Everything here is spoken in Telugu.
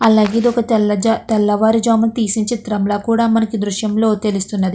అలాగే ఇది ఒక తెల్ల జా తెల్లవారు జామునా తీసిన చిత్రం లా కూడా మనకి ఈ ద్రుశ్యము లో తెలుస్తున్నది.